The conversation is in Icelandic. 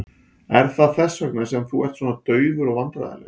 Er það þess vegna sem þú ert svona daufur og vandræðalegur?